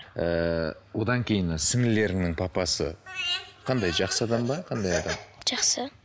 ііі одан кейін сіңілерінің папасы қандай жақсы адам ба қандай адам жақсы